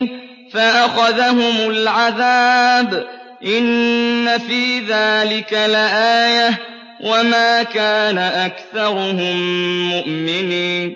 فَأَخَذَهُمُ الْعَذَابُ ۗ إِنَّ فِي ذَٰلِكَ لَآيَةً ۖ وَمَا كَانَ أَكْثَرُهُم مُّؤْمِنِينَ